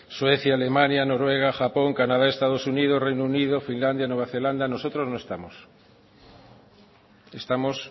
suecia alemania noruega japón canadá estados unidos reino unido finlandia nueva zelanda nosotros no estamos estamos